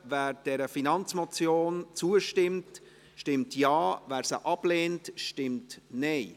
Wer dieser Finanzmotion zustimmt, stimmt Ja, wer diese ablehnt, stimmt Nein.